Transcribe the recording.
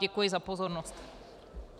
Děkuji za pozornost.